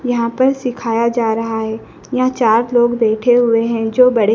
यहां पर सिखाया जा रहा है यहां चार लोग बैठे हुए हैं जो बड़े--